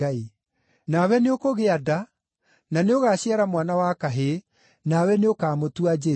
Nawe nĩũkũgĩa nda na nĩũgaaciara mwana wa kahĩĩ, nawe nĩũkamũtua Jesũ.